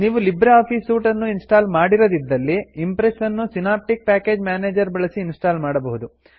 ನೀವು LibreOffice suite ಅನ್ನು install ಮಾಡಿರದಿದ್ದಲ್ಲಿ ಇಂಪ್ರೆಸ್ ನ್ನು ಸಿನೆಪ್ಟಿಕ್ ಪ್ಯಾಕೇಜ್ ಮ್ಯಾನೇಜರ್ ಬಳಸಿ ಇನ್ಸ್ಟಾಲ್ ಮಾಡಬಹುದು